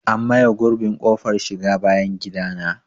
An maye gurbin ƙofar shiga bayan gidana.